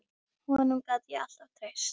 Honum gat ég alltaf treyst.